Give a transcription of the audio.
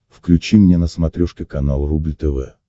включи мне на смотрешке канал рубль тв